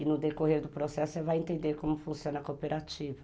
E no decorrer do processo você vai entender como funciona a cooperativa.